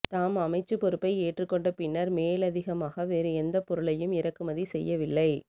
தாம் அமைச்சு பொறுப்பை ஏற்றுக் கொண்ட பின்னர் மேலதிகமாக வேறு எந்த பொருளையும் இறக்குமதி செய்யவில்லை